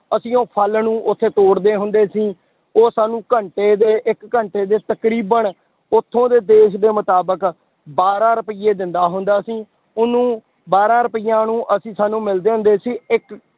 ਅਸੀਂ ਉਹ ਫਲ ਨੂੰ ਉੱਥੇ ਤੋੜਦੇ ਹੁੰਦੇ ਸੀ, ਉਹ ਸਾਨੂੰ ਘੰਟੇ ਦੇ ਇੱਕ ਘੰਟੇ ਦੇ ਵਿੱਚ ਤਕਰੀਬਨ, ਉੱਥੋਂ ਦੇ ਦੇਸ ਦੇ ਮੁਤਾਬਿਕ ਬਾਰਾਂ ਰੁਪਏ ਦਿੰਦਾ ਹੁੰਦਾ ਸੀ ਉਹਨੂੰ ਬਾਰਾਂ ਰੁਪਇਆਂ ਨੂੰ ਅਸੀਂ ਸਾਨੂੰ ਮਿਲਦੇ ਹੁੰਦੇ ਸੀ ਇੱਕ